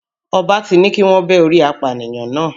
Ọba ti ní kíwọ́n bẹ́ orí apànìyàn náà.